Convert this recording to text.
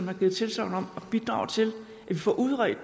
jo givet tilsagn om at bidrage til at vi får udredt